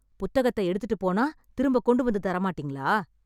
புத்தகத்த எடுத்துட்டுப் போனா திரும்ப கொண்டுவந்து தரமாட்டீங்களா?